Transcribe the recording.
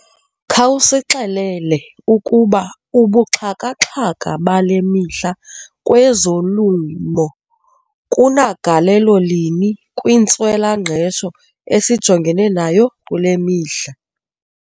Khawusixelele ukuba ubuxhakaxhaka bale mihla kwezolimo kunagalelo lini kwintswelangqesho esijongene nayo kule mihla.